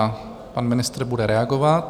A pan ministr bude reagovat.